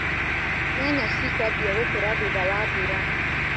Nyanya cikwambia gũkũra thutha wa mbura.